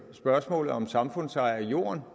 spørgsmålet om samfundseje af jorden